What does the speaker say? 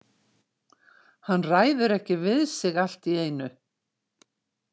Hann ræður ekki við sig allt í einu.